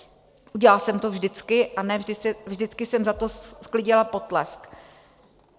Udělala jsem to vždycky a ne vždycky jsem za to sklidila potlesk.